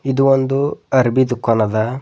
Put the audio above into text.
ಇದು ಒಂದು ಅರಬಿ ದುಖಾನ್ ಅದ.